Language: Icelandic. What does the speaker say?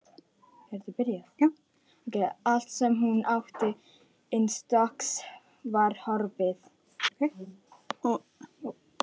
Allt sem hún átti innanstokks var horfið.